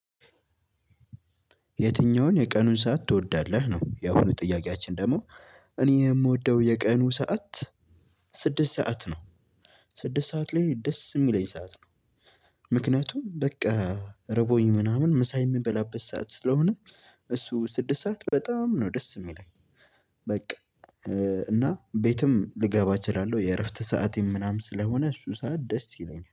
የትኛውን የቀኑን ሰዓት ትወዳለህ ነው? ያሆኑ ጥያቄያችን ደግሞ እኔ የምወደው የቀኑ ሰዓት ስድስት ሰዓት ነው ስድስት ሰዓት ላይ ደስ የሚለኝ ሰዓት ነው። ምክንያቱም በቃ ርቦኝ ምናምን ምሳ የምበላበት ሰዓት ስለሆነ እሱ ስድስት ሰዓት በጣም ነው ደስ የሚለኝ። በቃ እና ቤትም ልገባ እችላለሁ የእረፍት ሰዓቴም ምናምን ስለሆነ እሱ ሰዓት ደስ ይለኛል